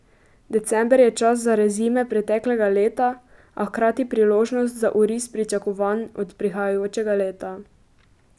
December je čas za rezime preteklega leta, a hkrati priložnost za oris pričakovanj od prihajajočega leta.